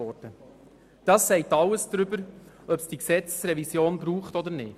Dies sagt alles darüber aus, ob es diese Gesetzesrevision braucht oder nicht.